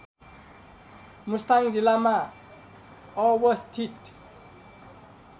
मुस्ताङ जिल्लामा अवस्थित